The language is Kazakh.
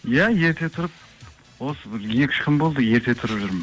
иә ерте тұрып осы бір екі үш күн болды ерте тұрып жүрмін